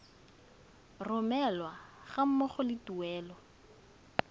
romelwa ga mmogo le tuelo